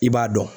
I b'a dɔn